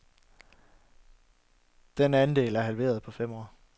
Den andel er halveret på fem år.